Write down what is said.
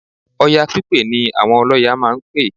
Ọya pípè ni àwọn ọlọ́ya máa ń pè